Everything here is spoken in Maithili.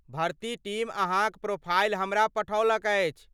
भर्ती टीम अहाँक प्रोफाइल हमरा पठौलक अछि।